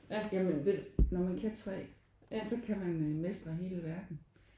Ja men ved du når man kan 3 så kan man mestre hele verden